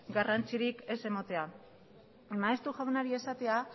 garrantzirik ez ematea maeztu jaunari esatea